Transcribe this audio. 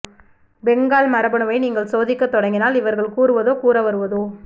பெங்கால் மரபணுவை நீங்கள் சோதிக்க தொடங்கினால் இவர்கள் கூறுவதோ கூறவருவதோ